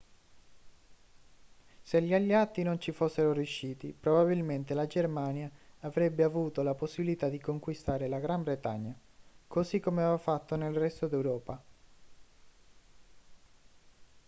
se gli alleati non ci fossero riusciti probabilmente la germania avrebbe avuto la possibilità di conquistare la gran bretagna così come aveva fatto nel resto d'europa